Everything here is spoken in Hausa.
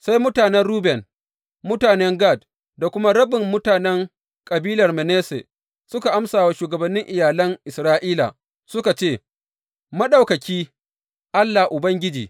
Sai mutanen Ruben, mutanen Gad da kuma rabin mutanen kabilar Manasse suka amsa wa shugabannin iyalan Isra’ila suka ce, Maɗaukaki, Allah, Ubangiji!